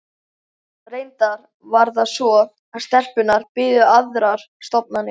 Reyndar var það svo að stelpunnar biðu aðrar stofnanir.